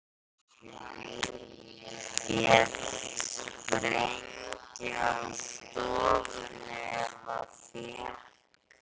Féll sprengja á stofuna eða fékk